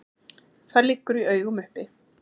Það liggur í augum uppi.